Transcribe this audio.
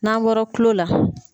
N'an bɔra kulon la.